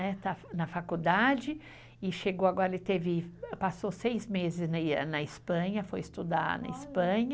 Está na faculdade e chegou agora, ele passou seis meses na Espanha, foi estudar na Espanha.